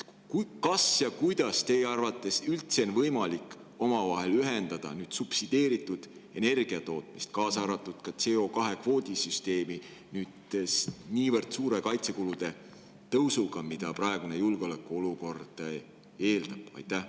Kas ja kuidas teie arvates üldse on võimalik omavahel ühendada nüüd subsideeritud energiatootmist, kaasa arvatud CO2 kvoodi süsteemi, niivõrd suure kaitsekulude tõusuga, mida praegune julgeoleku olukord eeldab?